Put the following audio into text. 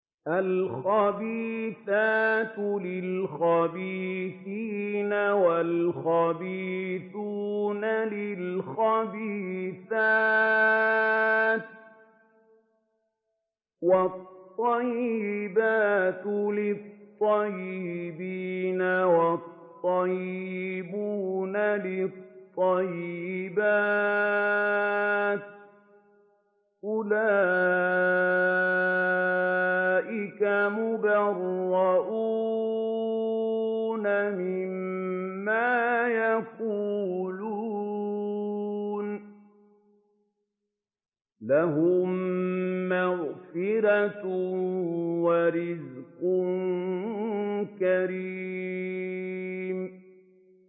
الْخَبِيثَاتُ لِلْخَبِيثِينَ وَالْخَبِيثُونَ لِلْخَبِيثَاتِ ۖ وَالطَّيِّبَاتُ لِلطَّيِّبِينَ وَالطَّيِّبُونَ لِلطَّيِّبَاتِ ۚ أُولَٰئِكَ مُبَرَّءُونَ مِمَّا يَقُولُونَ ۖ لَهُم مَّغْفِرَةٌ وَرِزْقٌ كَرِيمٌ